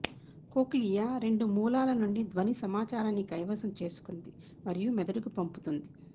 cochlea రెండు మూలాల నుండి ధ్వని సమాచారాన్ని కైవసం చేసుకుంది మరియు మెదడుకు పంపుతుంది